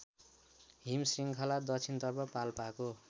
हिमशृङ्खला दक्षिणतर्फ पाल्पाको